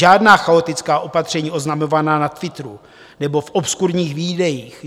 Žádná chaotická opatření oznamovaná na Twitteru nebo v obskurních videích.